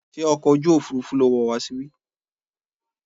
Ṣé ọkọ̀ ojú òfurufú lo wọ̀ wá síbí?